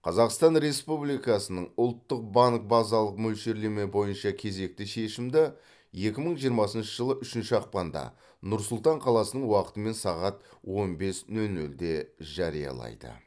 қазақстан республикасының ұлттық банк базалық мөлшерлеме бойынша кезекті шешімді екі мың жиырмасыншы жылы үшінші ақпанда нұр сұлтан қаласының уақытымен сағат он бес нөл нөлде жариялайды